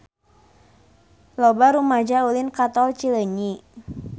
Loba rumaja ulin ka Tol Cileunyi